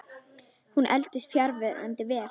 Hún eldist fjandi vel.